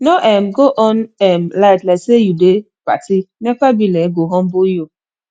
no um go on um light like say you dey party nepa bill um go humble you